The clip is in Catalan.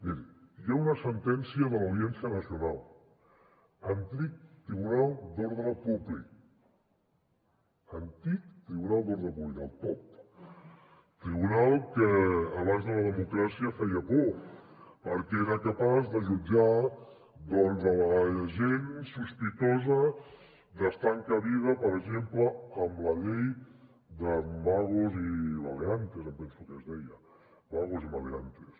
miri hi ha una sentència de l’audiència nacional antic tribunal d’ordre públic antic tribunal d’ordre públic el top tribunal que abans de la democràcia feia por perquè era capaç de jutjar la gent sospitosa d’estar encabida per exemple en la llei de vagos y maleantes em penso que es deia vagos y maleantes